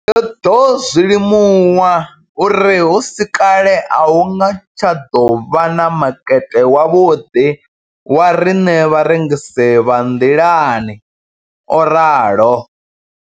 Ndo ḓo zwi limuwa uri hu si kale a hu nga tsha ḓo vha na makete wavhuḓi wa riṋe vharengisi vha nḓilani, o ralo.